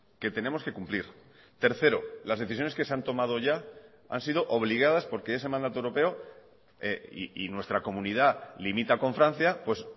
que tenemos que cumplir tercero las decisiones que se han tomado ya han sido obligadas porque ese mandato europeo y nuestra comunidad limita con francia pues